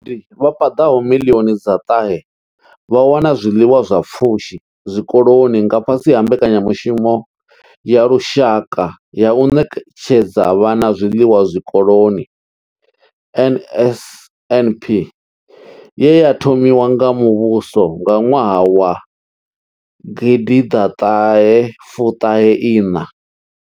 Vhagudi vha paḓaho miḽioni dza ṱahe vha wana zwiḽiwa zwa pfushi zwikoloni nga fhasi ha mbekanyamushumo ya lushaka ya u ṋetshedza vhana zwiḽiwa zwikoloni NSNP ye ya thomiwa nga muvhuso nga ṅwaha wa gidi ḓa ṱahe u ṱahe iṋa.